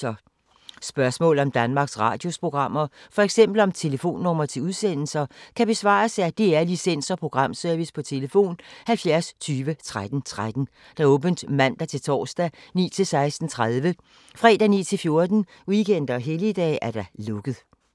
Spørgsmål om Danmarks Radios programmer, f.eks. om telefonnumre til udsendelser, kan besvares af DR Licens- og Programservice: tlf. 70 20 13 13, åbent mandag-torsdag 9.00-16.30, fredag 9.00-14.00, weekender og helligdage: lukket.